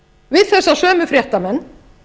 við þessa sömu fréttamenn